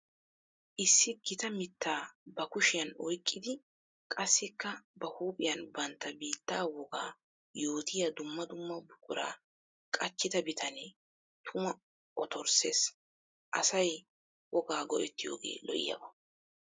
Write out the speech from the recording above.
Issi gita mitta ba kushiyan oyqqiddi qassikka ba huuphiyan bantta biitta wogaa yootiya dumma dumma buqura qachchidda bitane tuma ottorsses. Asay wogaa gi'ettiyooge lo'iyaaba.